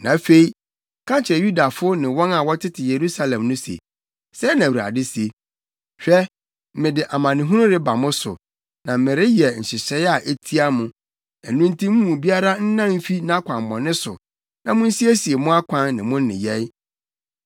“Na afei ka kyerɛ Yudafo ne wɔn a wɔtete Yerusalem no se, ‘Sɛɛ na Awurade se: Hwɛ! mede amanehunu reba mo so, na mereyɛ nhyehyɛe a etia mo. Ɛno nti mo mu biara nnan mfi nʼakwammɔne so na munsiesie mo akwan ne mo nneyɛe.’